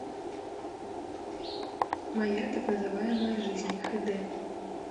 моя так называемая жизнь хд